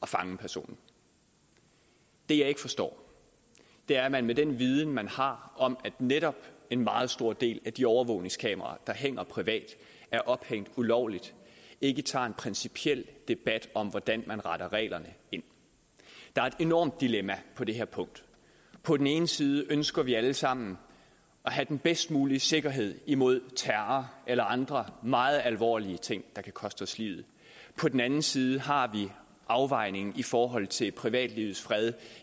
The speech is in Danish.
fange personen det jeg ikke forstår er at man med den viden man har om at netop en meget stor del af de overvågningskameraer der hænger privat er ophængt ulovligt ikke tager en principiel debat om hvordan man retter reglerne ind der er et enormt dilemma på det her punkt på den ene side ønsker vi alle sammen at have den bedst mulige sikkerhed imod terror eller andre meget alvorlige ting der kan koste os livet på den anden side har vi afvejningen i forhold til privatlivets fred